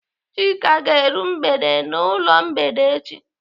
Chika ga-eru mgbede n'ụlọ mgbede echi.